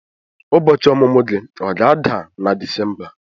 Ụbọchị ọmụmụ gị ọ ga-ada na Disemba?